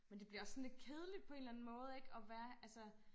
Men det bliver også sådan lidt kedeligt på en eller anden måde ikke og være altså